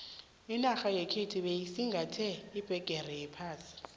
inarha yekhethu beyisingathe iphegere yephasi